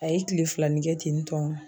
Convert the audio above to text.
A ye kile filananin kɛ ten tɔ